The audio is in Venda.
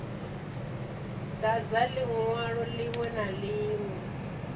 dadza linwalo linwe na linwe